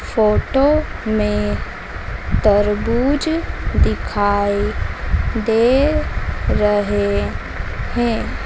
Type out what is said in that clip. Photo में तरबूज दिखाई दे रहे हैं।